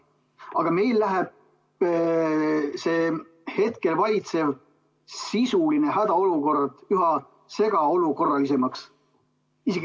Aga meil läheb hetkel see sisuline hädaolukord üha segaolukorralisemaks.